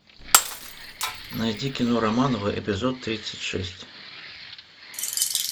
найди кино романовы эпизод тридцать шесть